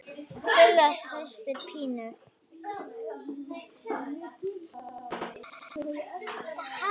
Silla systir Pínu.